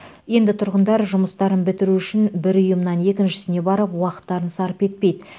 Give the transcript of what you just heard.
енді тұрғындар жұмыстарын бітіру үшін бір ұйымнан екіншісіне барып уақыттарын сарп етпейді